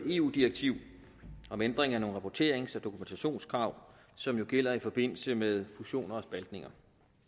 eu direktiv om ændring af nogle rapporterings og dokumentationskrav som jo gælder i forbindelse med fusioner og spaltninger